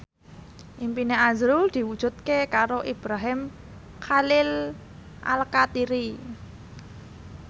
impine azrul diwujudke karo Ibrahim Khalil Alkatiri